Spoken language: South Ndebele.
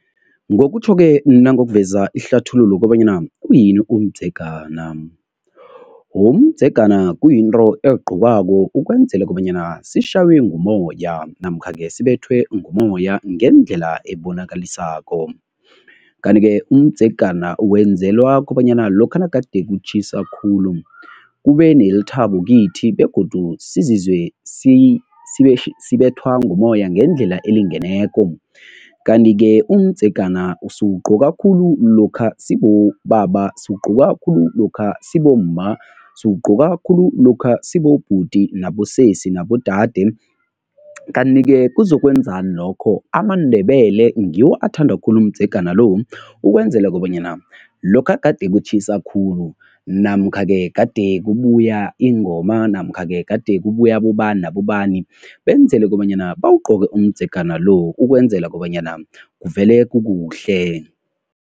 Ngokutjho-ke nangokuveza ihlathululo kobanyana uyini umdzegana. Umdzegana kuyinto eligqokwako ukwenzela kobanyana sishaywe ngumoya namkha-ke sibethwe ngumoya ngendlela ebonakalisako. Kanti-ke umdzegana wenzelwa kobanyana lokha nagade kutjhisa khulu, kube nelithabo kithi begodu sizizwe sibethwa ngumoya ngendlela elingeneko. Kanti-ke umdzegana siwugqoka khulu lokha sibobaba, siwugqoka khulu lokha sibomma, siwugqoka khulu lokha sibobhuti nabosesisi nabodade kanti-ke kuzokwenzani lokho? AmaNdebele ngiwo athanda khulu umdzegana lo ukwenzela kobanyana lokha gade kutjhisa khulu namkha-ke gade kubuya ingoma namkha-ke gade kubuya abobani nabobani, benzele kobanyana bawugqoke umdzegana lo ukwenzela kobanyana kuvele kukuhle.